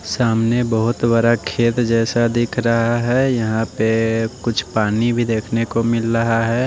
सामने बहोत बरा खेत जैसा दिख रहा है यहां पे कुछ पानी भी देखने को मिल रहा है।